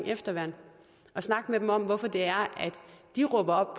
efterværn og snakke med dem om hvorfor det er at de råber op